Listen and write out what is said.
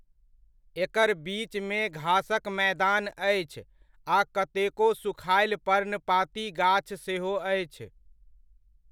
एकर बीचमे घासक मैदान अछि आ कतेको सुखायल पर्णपाती गाछ सेहो अछि।